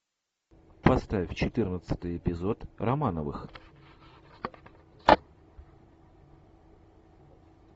поставь четырнадцатый эпизод романовых